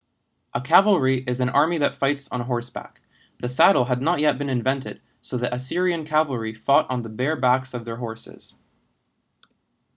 a cavalry is an army that fights on horseback the saddle had not yet been invented so the assyrian cavalry fought on the bare backs of their horses